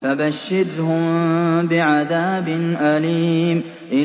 فَبَشِّرْهُم بِعَذَابٍ أَلِيمٍ